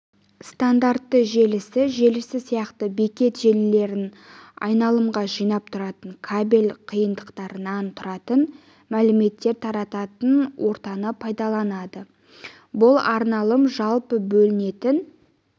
стандартты желісі желісі сияқты бекет желілерін айналымға жинап тұратын кабель қиындыларынан тұратын мәліметтер тарататын ортаны пайдаланады бұл айналым жалпы бөлінетін